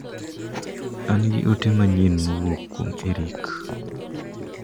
An gi ote manyien mowuok kuom Eric.